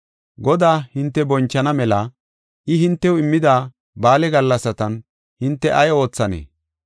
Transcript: Godaa hinte bonchana mela I hintew immida ba7aale gallasatan hinte ay oothanee?